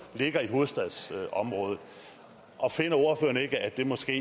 ligger i hovedstadsområdet finder ordføreren ikke at det måske